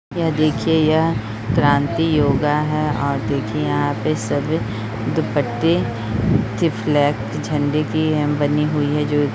यह देखिए यह क्रांति योगा है और देखिए यहाँ पे सब दुपट्टे से फ्लैग झंडे की बनी हुई है जो --